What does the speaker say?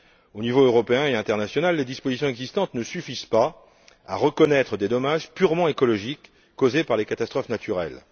Au niveau européen et international, les dispositions existantes ne suffisent pas à reconnaître des dommages purement écologiques causés par les catastrophes naturelles.